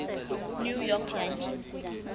new york yankees